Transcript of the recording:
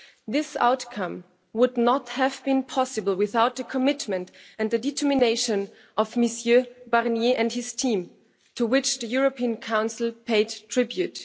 This outcome would not have been possible without the commitment and the determination of Mr Barnier and his team, to which the European Council paid tribute.